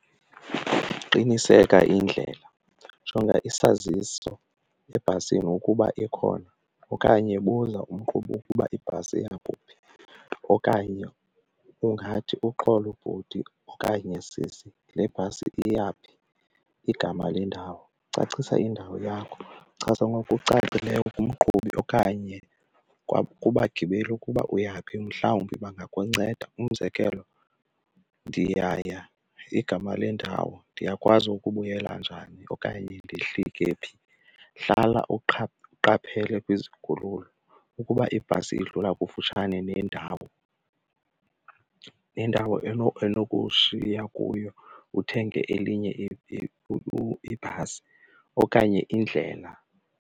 Qiniseka indlela, jonga isazisi ebhasini ukuba ikhona okanye buza umqhubi ukuba ibhasi iyakuphi. Okanye ungathi, uxolo bhuti okanye sisi le bhasi iya phi, igama lendawo, cacisa indawo yakho, chaza ngokucacileyo kumqhubi okanye kubagibeli ukuba uyaphi mhlawumbi bangakunceda. Umzekelo ndiyaya, igama lendawo, ndiyakwazi ukubuyela njani okanye ndihlike phi. Hlala uqaphele kwizikhululo, ukuba ibhasi idlula kufutshane nendawo nendawo enokushiya kuyo uthenge elinye ibhasi okanye indlela.